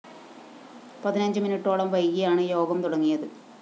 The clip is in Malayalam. പതിനഞ്ച് മിനിട്ടോളം വൈകിയാണ് യോഗം തുടങ്ങിയത്